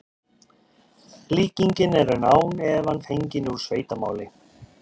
líkingin er án efa fengin úr sveitamáli